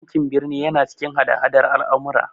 Yankin birni yana cikin hada hadar al'amura.